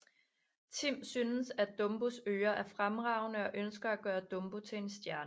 Tim synes at Dumbos ører er fremragende og ønsker at gøre Dumbo til en stjerne